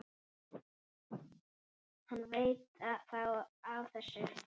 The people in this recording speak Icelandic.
Hann veit þá af þessu?